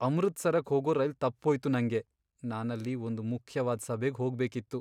ಅಮೃತ್ಸರಕ್ ಹೋಗೋ ರೈಲ್ ತಪ್ಪೋಯ್ತು ನಂಗೆ. ನಾನಲ್ಲಿ ಒಂದ್ ಮುಖ್ಯವಾದ್ ಸಭೆಗ್ ಹೋಗ್ಬೇಕಿತ್ತು.